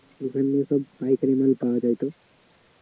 ওখানে তো সব পাইকারি মাল পাওয়া যায় তো